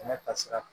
Kɛnɛ tasira